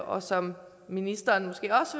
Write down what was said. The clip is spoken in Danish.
og som ministeren måske også